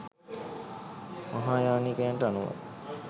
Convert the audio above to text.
මහායානිකයන්ට අනුව